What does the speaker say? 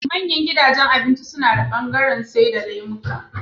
Manyan gidajan abinci nada bangaran saida lemuka